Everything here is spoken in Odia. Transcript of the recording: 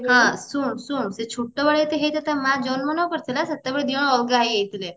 ହଁ ଶୁଣୁ ଶୁଣୁ ସେ ଛୋଟବେଳେ ଯେବେ ହେଇଥିବ ତା ମା ଜନ୍ମ ନ କରିଥିଲା ସେତେବେଳେ ଦିଜଣ ଅଲଗା ହେଇଯାଇଥିଲେ